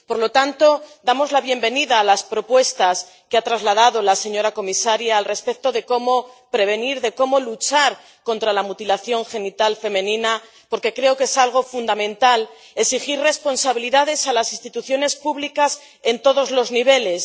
Por lo tanto, damos la bienvenida a las propuestas que ha trasladado la señora comisaria sobre cómo prevenir, cómo luchar contra la mutilación genital femenina, porque creo que es fundamental exigir responsabilidades a las instituciones públicas en todos los niveles.